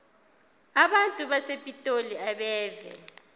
abantu basepitoli abeve